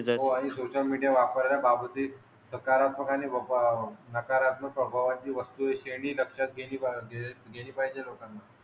हो आणि social media वापरण्याबाबतीत सकारात्मक आणि वाप नकारात्मक स्वभावाची वस्तू आहे हि श्रेणी लक्षात गेली पाहिजे. गेली पाहिजे लोकांना.